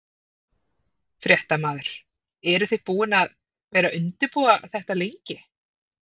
Fréttamaður: Eruð þið búin að vera að undirbúa þetta lengi?